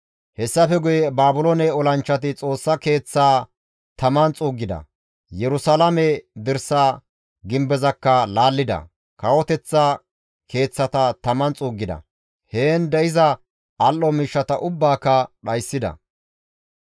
Hessafe guye Baabiloone olanchchati Xoossa Keeththaa taman xuuggida; Yerusalaame dirsa gimbezakka laallida; kawoteththa keeththata taman xuuggida; heen de7iza al7o miishshata ubbaaka dhayssida.